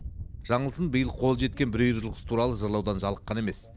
жаңылсын биыл қолы жеткен бір үйір жылқысы туралы жырлаудан жалыққан емес